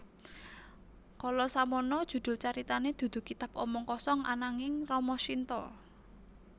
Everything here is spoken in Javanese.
Kala samana judul caritané dudu Kitab Omong Kosong ananging Rama Shinta